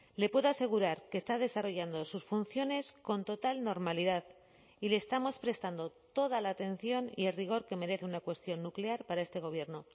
le puedo asegurar que está desarrollando sus funciones con total normalidad y le estamos prestando toda la atención y rigor que merece una cuestión nuclear para este gobierno